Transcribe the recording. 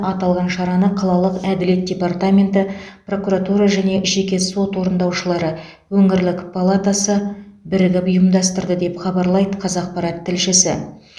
аталған шараны қалалық әділет департаменті прокуратура және жеке сот орындаушылары өңірлік палатасы бірігіп ұйымдастырды деп хабарлайды қазақпарат тілшісі